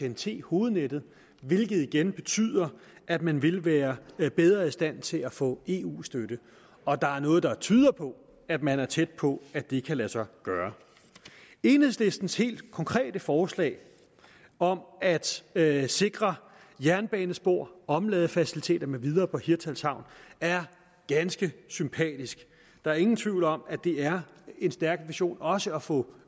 ten t hovednettet hvilket igen betyder at man vil være bedre i stand til at få eu støtte og der er noget der tyder på at man er tæt på at det kan lade sig gøre enhedslistens helt konkrete forslag om at sikre jernbanespor omladefaciliteter med videre på hirtshals havn er ganske sympatisk der er ingen tvivl om at det er en stærk vision også at få